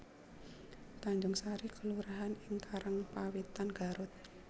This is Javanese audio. Tanjungsari kelurahan ing Karangpawitan Garut